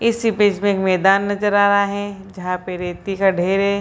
इस इमेज में एक मैदान नजर आ रहा है जहां पर रेती का ढेर है।